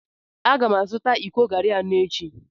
A ga m azụta iko garri anọ echi.